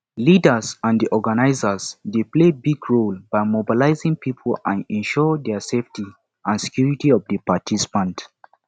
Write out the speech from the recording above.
leaders and di organizers dey play big role by mobilizing people and ensure their safety and security of di participants